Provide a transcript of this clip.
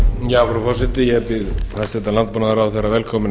frú forseti ég býð hæstvirtur landbúnaðarráðherra velkominn